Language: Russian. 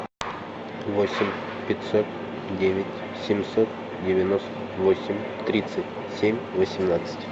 восемь пятьсот девять семьсот девяносто восемь тридцать семь восемнадцать